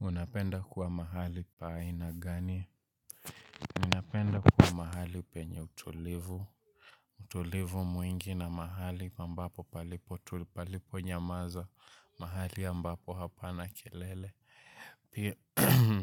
Unapenda kuwa mahali pa aina gani? Unapenda kuwa mahali penye utulivu. Utulivu mwingi na mahali ambapo palipo tuli palipo nyamaza. Mahali ambapo hapa na kelele.